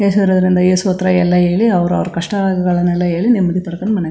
ಯೇಸುರವರಿಂದ ಯೇಸು ಹತ್ರ ಎಲ್ಲಾ ಹೇಳಿ ಅವ್ರ ಅವ್ರ ಕಷ್ಟನ ಹೇಳಿ ನೆಮ್ಮದಿ ಪಡಕೊಂಡ್ ಮನೆಗೆ ಬರತ್ತರೆ.